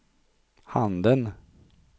handen